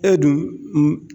E dun